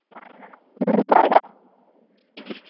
உம் bye டா